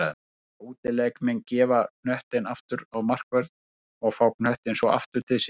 Mega útileikmenn gefa knöttinn aftur á markvörð og fá knöttinn svo aftur til sín?